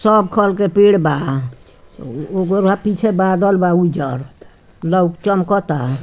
सब खल के पेड़ बा ओकरा पीछे बदाल बा उजर ल चमकता।